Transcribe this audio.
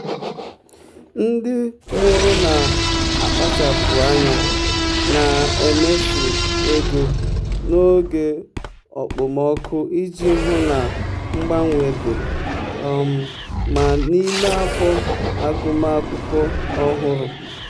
ndị mụrụ na-akpachapụ anya na-emefu ego n'oge okpomọkụ iji hụ na mgbanwe dị um mma n'ime afọ agụmakwụkwọ ọhụrụ.